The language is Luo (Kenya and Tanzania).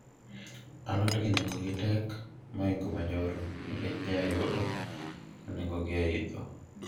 alod gi nengogi tek mohingo manyoro nikech nye ayudo ka nengogi oidho